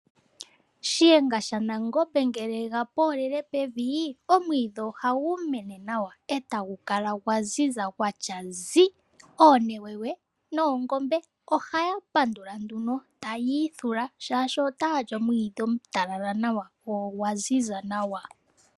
Shiyenga shaNangombe ngele yega poolele pevi omwiidhi oha gu mene nawa. Eta gu kala gwa ziza gwatya zi. Oonewewe noongombe oha ya pandula nduno. Tayii ithula shashi ota ya li omwiidhi omutalala nawa go ogwa ziza nawa.